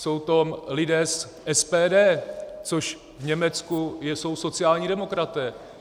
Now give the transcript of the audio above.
Jsou to lidé z SPD, což v Německu jsou sociální demokraté.